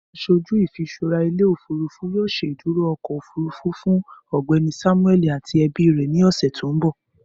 Aṣoju ifiṣura ile-ofurufu yoo ṣeduro ọkọ ofurufu. Fun Ọgbẹni Samueli ati ẹbi rẹ ni ọsẹ to nbọ.